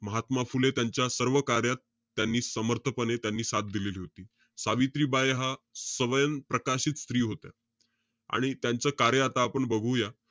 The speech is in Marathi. महात्मा फुले त्यांच्या, सर्व कार्यात त्यांनी समर्थपणे त्यांनी साथ दिलेली होती. सावित्रीबाई हा स्वयं प्रकाशित स्त्री होत्या. आणि त्यांचं कार्य आता आपण बघूया.